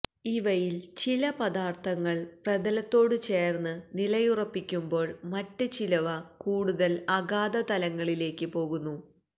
ഇവയില് ചില പദാര്ത്ഥങ്ങള് പ്രതലത്തോട് ചേര്ന്ന് നിലയുറപ്പിക്കുമ്പോള് മറ്റ് ചിലവ കൂടുതല് അഗാധതലങ്ങളിലേക്ക് പോകുന്നു